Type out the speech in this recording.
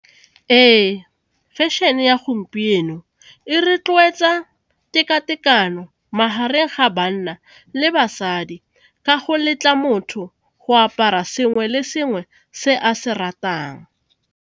Ee, fashion-e ya gompieno e rotloetsa teka-tekano magareng ga banna le basadi ka go letla motho go apara sengwe le sengwe se a se ratang.